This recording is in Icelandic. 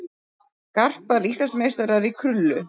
Garpar Íslandsmeistarar í krullu